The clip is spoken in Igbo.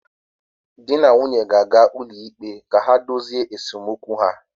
Di na nwunye ga-aga ụlọikpe ka ha dozie esemokwu ha